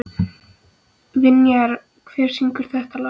Vinjar, hver syngur þetta lag?